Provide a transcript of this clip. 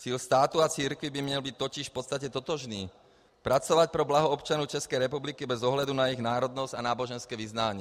Cíl státu a církví by měl být totiž v podstatě totožný: pracovat pro blaho občanů České republiky bez ohledu na jejich národnost a náboženské vyznání.